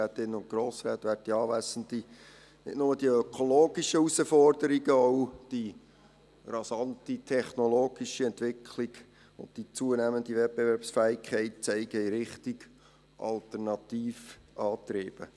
Nicht nur die ökologischen Herausforderungen, auch die rasante technologische Entwicklung und die zunehmende Wettbewerbsfähigkeit zeigen in die Richtung der Alternativantriebe.